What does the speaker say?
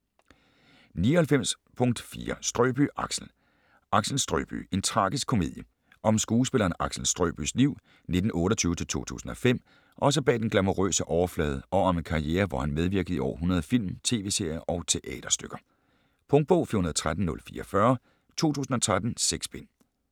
99.4 Strøbye, Axel Axel Strøbye: en tragisk komedie Om skuespilleren Axel Strøbyes liv (1928-2005) også bag den glamourøse overflade og om en karriere hvor han medvirkede i over 100 film, tv-serier og teaterstykker. Punktbog 413044 2013. 6 bind.